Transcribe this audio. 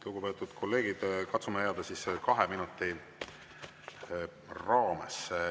Lugupeetud kolleegid, katsume jääda kahe minuti raamesse.